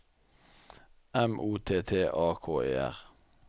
M O T T A K E R